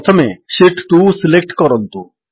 ପ୍ରଥମେ sheet 2 select କରନ୍ତୁ